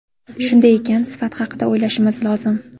Shunday ekan, sifat haqida o‘ylashimiz lozim.